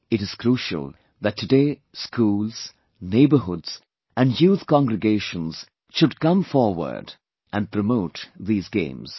It is crucial that today schools, neighbourhoods and youth congregations should come forward and promote these games